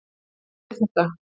Við vorum með þetta.